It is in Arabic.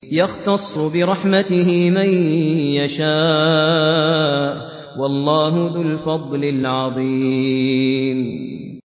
يَخْتَصُّ بِرَحْمَتِهِ مَن يَشَاءُ ۗ وَاللَّهُ ذُو الْفَضْلِ الْعَظِيمِ